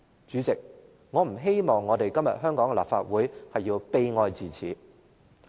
主席，我不希望今天的香港立法會會悲哀至此。